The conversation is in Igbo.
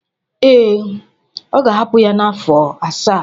Ee, ọ ga-ahapụ ya afọ asaa.